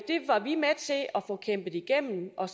få igennem og